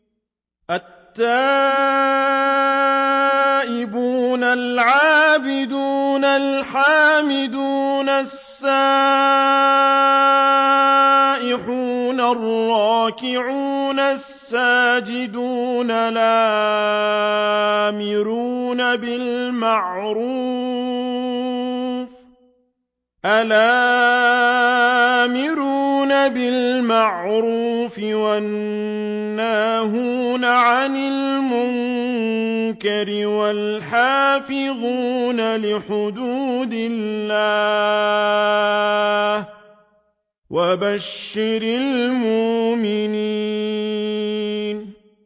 التَّائِبُونَ الْعَابِدُونَ الْحَامِدُونَ السَّائِحُونَ الرَّاكِعُونَ السَّاجِدُونَ الْآمِرُونَ بِالْمَعْرُوفِ وَالنَّاهُونَ عَنِ الْمُنكَرِ وَالْحَافِظُونَ لِحُدُودِ اللَّهِ ۗ وَبَشِّرِ الْمُؤْمِنِينَ